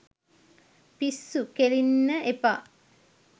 පිස්සු කෙලින්න එපා.